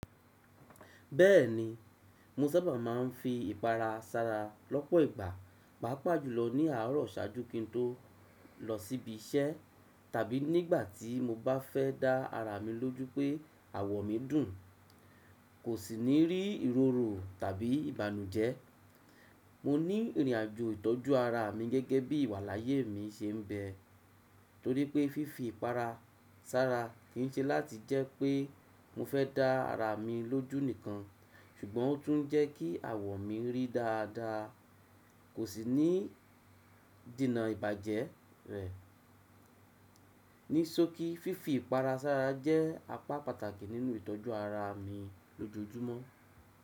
Bẹ́ẹ̀ni, mo sábà máa ń fi ìpara sára lọ́pọ̀ ìgbà, pàápàá jùlọ ní àárọ̀ ṣáájú kí n tó lọ síbí iṣẹ́ tàbí nígbà tí mo bá fẹ́ dá ara mi lójú pé àwọ̀ mi dùn, kò sì ní rí ìrọ̀ro tàbí ìbànújẹ́. Mo ní ìrìnàjò ìtọ́jú ara mi gẹ́gẹ́ bí ìwàláàyè mi ṣe ń bẹ, torí pé fífi ìpara sára kì í ṣe láti jẹ́ pé mo fẹ́ dá ara mi lójú nìkan, ṣùgbọ́n ó tún ń jẹ́ kí àwọ̀ mi rí dáadáa, kò sì ní dènà ìbàjẹ́ rẹ̀. Ní sókí, fífi ìpara sára jẹ́ apá pàtàkì nínú ìtọ́jú ara mi lójoojúmọ́.